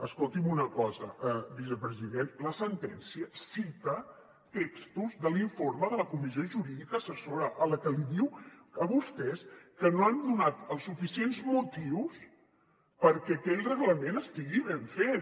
escolti’m una cosa vicepresident la sentència cita textos de l’informe de la comissió jurídica assessora a la qual li diu que vostès no han donat els suficients motius perquè aquell reglament estigui ben fet